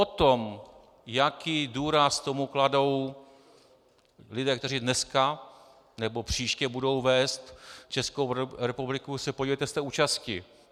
O tom, jaký důraz tomu kladou lidé, kteří dneska nebo příště budou vést Českou republiku, se podívejte z té účasti.